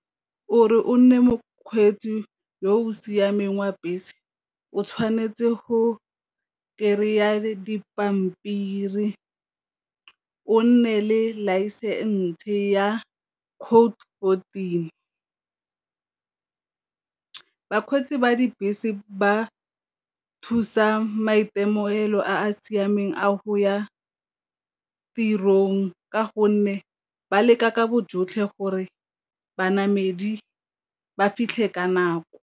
O re o nne mokgweetsi yo o siameng wa bese o tshwanetse go kry-a dipampiri, o nne le license ya code fourteen. Bakgweetsi ba dibese ba thusa maitemogelo a a siameng a go ya tirong ka gonne ba leka ka bo jotlhe gore banamedi ba fitlhe ka nako.